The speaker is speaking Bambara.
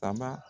A ba